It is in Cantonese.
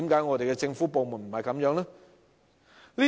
為何政府部門並非如此？